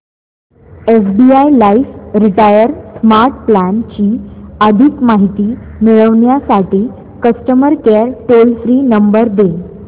SBI life retire smart plan ची अधिक माहिती मिळविण्यासाठी customer care toll free number दे